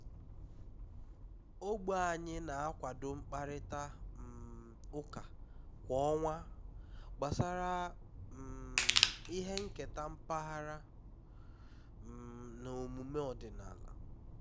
ogbe anyị na-akwado mkparịta um ụka kwa ọnwa gbasara um ihe nketa mpaghara um na omume ọdịnala